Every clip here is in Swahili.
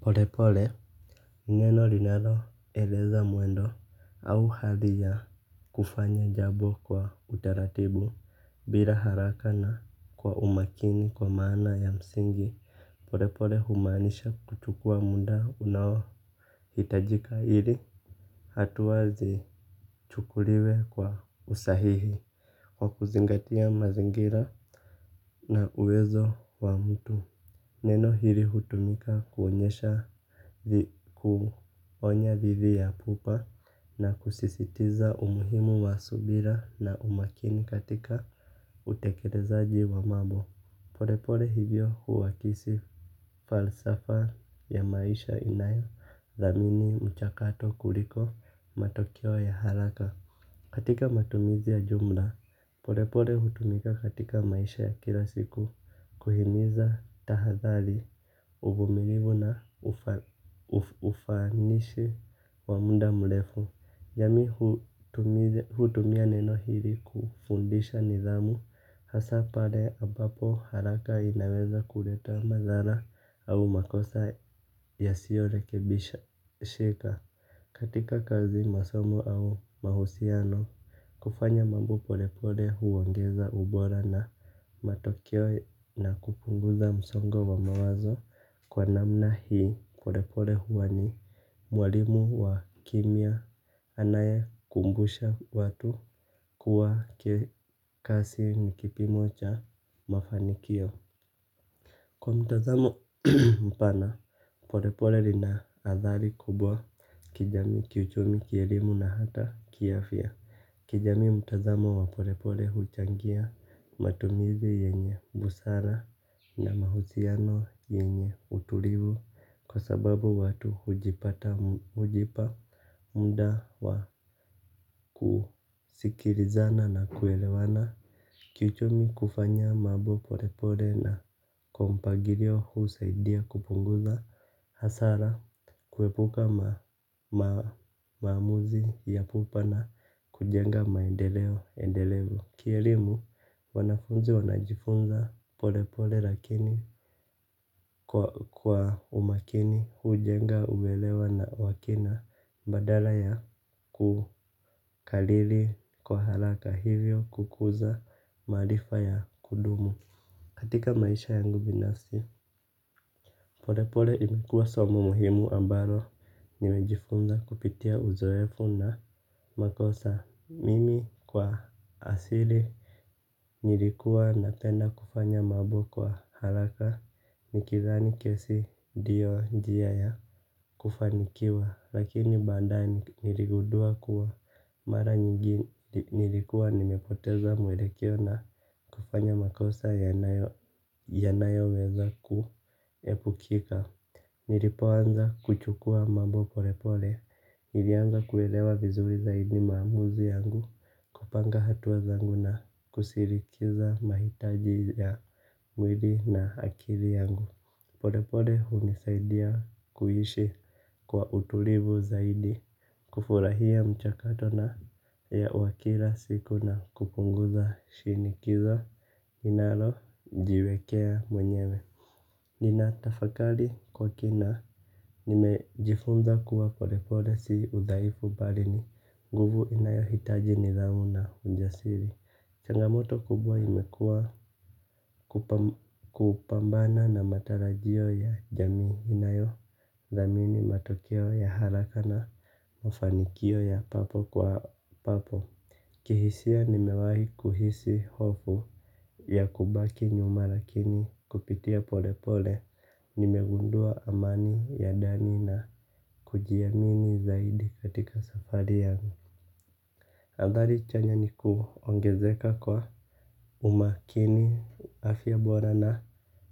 Polepole neno linaloeleza mwendo au hali ya kufanya jambo kwa utaratibu bila haraka na kwa umakini kwa maana ya msingi. Polepole humaanisha kuchukua muda unaohitajika ili hatua zichukuliwe kwa usahihi kwa kuzingatia mazingira na uwezo wa mtu. Neno hili hutumika kuonyesha kuonya dhidi ya pupa na kusisitiza umuhimu wa subira na umakini katika utekelezaji wa mambo. Polepole hivyo huakisi falsafa ya maisha inayothamini mchakato kuliko matokeo ya haraka. Katika matumizi ya jumla, polepole hutumika katika maisha ya kila siku, kuhimiza tahadhari, uvumilivu na ufa ufanishi wa muda mrefu. Jamii hutumia neno hili kufundisha nidhamu hasa pale ambapo haraka inaweza kuleta madhara au makosa yasiyorekebishika. Katika kazi masomo au mahusiano kufanya mambo polepole huongeza ubora na matokeo na kupunguza msongo wa mawazo. Kwa namna hii polepole huwa ni mwalimu wa kimya. Anayekumbusha watu kuwa kikasi ni kipimo cha mafanikio. Kwa mtazamo mpana polepole lina athari kubwa. Kijamii kiuchumi kielimu na hata kiafya kijamii mtazamo wa pole pole huchangia matumizi yenye busara na mahusiano yenye utulivu. Kwa sababu watu hujipata hujipa mda wa kusikilizana na kuelewana. Kiuchumi kufanya mambo pole pole na kwa mpangilio husaidia kupunguza hasara kuepuka ma maamuzi ya pupa na kujenga maendeleo endelevu. Kielimu wanafunzi wanajifunza polepole lakini kwa umakini hujenga uelewa na wa kina badala ya kukariri kwa haraka hivyo kukuza maarifa ya kudumu. Katika maisha yangu binafsi, pole pole imekuwa somo muhimu ambalo nimejifunza kupitia uzoefu na makosa mimi kwa asili nilikuwa napenda kufanya mambo kwa haraka nikidhani kesi ndio njia ya kufanikiwa Lakini baadaye niligundua kuwa mara nyingi nilikuwa nimepoteza mwelekeo na kufanya makosa yanayo yanoweza ku ya kukika. Nilipoanza kuchukua mambo polepole nilianza kuelewa vizuri zaidi maamuzi yangu. Kupanga hatua zangu na kusirikiza mahitaji ya mwili na akili yangu. Polepole hunisaidia kuishi kwa utulivu zaidi kufurahia mchakato na ya wa kila siku na kupunguza shinikiza ninalojiekea mwenyewe. Ninatafakari kwa kina nimejifunza kuwa pole pole si udhaifu bali ni nguvu inayohitaji nidhamu na ujasiri. Changamoto kubwa imekua kupambana na matarajio ya jamii inayo thamini matokeo ya haraka na mafanikio ya papo kwa papo. Kihisia nimewahi kuhisi hofu ya kubaki nyuma lakini kupitia pole pole nimegundua amani ya ndani na kujiamini zaidi katika safari yangu. Athari chanya ni kuongezeka kwa umakini afya bora na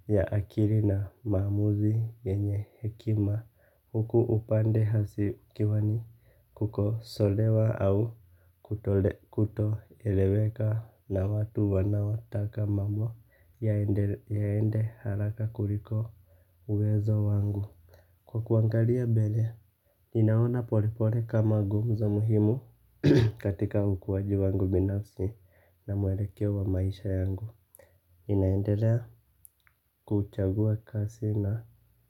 ya akili na maamuzi yenye hekima huku upande hasi ukiwa ni kukosolewa au kutole kutoeleweka na watu wanaotaka mambo yaende haraka kuliko uwezo wangu. Kwa kuangalia mbele ninaona pole pole kama nguvu za muhimu katika ukuwaji wangu binafsi na mwelekeo wa maisha yangu ninaendelea kuchagua kasi na.